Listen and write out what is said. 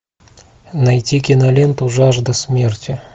найти киноленту жажда смерти